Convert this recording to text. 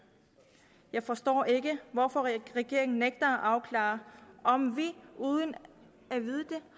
jeg forstår ikke hvorfor regeringen nægter at afklare om vi uden at vide det